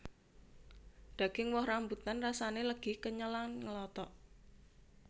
Daging woh rambutan rasané legi kenyal lan ngelotok